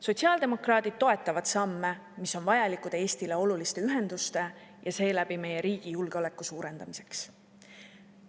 Sotsiaaldemokraadid toetavad samme, mis on vajalikud Eestile oluliste ühenduste ja seeläbi meie riigi julgeoleku suurendamiseks.